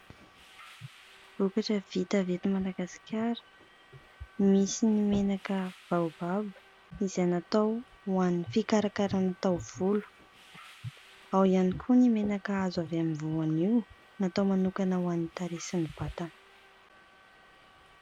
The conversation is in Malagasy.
Vokatra vita avy eto Madagasikara. Misy ny menaka baobab izay natao ho an'ny fikarakarana taovolo. Ao ihany koa ny menaka azo avy amin'ny voanio natao manokana ho an'ny tarehy sy ny vatana.